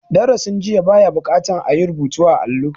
Darasin jiya ba ya buƙatar a yi rubutu a allo.